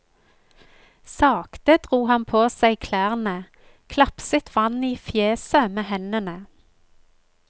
Sakte dro han på seg klærne, klapset vann i fjeset med hendene.